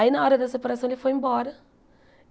Aí, na hora da separação, ele foi embora.